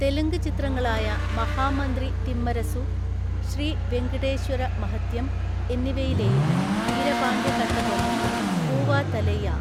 തെലുങ്ക് ചിത്രങ്ങളായ മഹാമന്ത്രി തിമ്മരസു, ശ്രീ വെങ്കിടേശ്വര മഹത്യം എന്നിവയിലെയും വീരപാണ്ഡ്യ കട്ടബൊമ്മൻ, പൂവാ തലൈയാ?